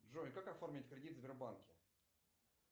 джой как оформить кредит в сбербанке